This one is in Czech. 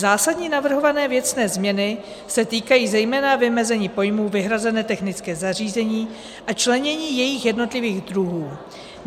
Zásadní navrhované věcné změny se týkají zejména vymezení pojmů vyhrazené technické zařízení a členění jejich jednotlivých druhů.